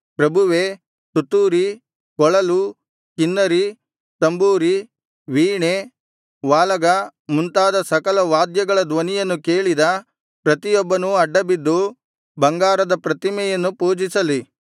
ಪ್ರಭುವೇ ತುತ್ತೂರಿ ಕೊಳಲು ಕಿನ್ನರಿ ತಂಬೂರಿ ವೀಣೆ ವಾಲಗ ಮುಂತಾದ ಸಕಲ ವಾದ್ಯಗಳ ಧ್ವನಿಯನ್ನು ಕೇಳಿದ ಪ್ರತಿಯೊಬ್ಬನೂ ಅಡ್ಡಬಿದ್ದು ಬಂಗಾರದ ಪ್ರತಿಮೆಯನ್ನು ಪೂಜಿಸಲಿ